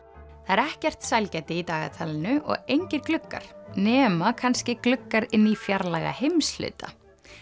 það er ekkert sælgæti í dagatalinu og engir gluggar nema kannski gluggar inn í fjarlæga heimshluta